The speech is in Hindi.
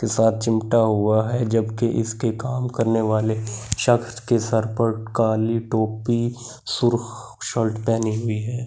के साथ सिमटा हुआ है जबकि इसके काम करने वाले शक्स के सर पर काली टोपी सुर्क शर्ट पहनी हुई है ।